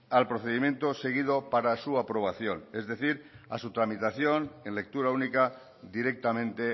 al procedimiento seguido para su aprobación es decir a su tramitación en lectura única directamente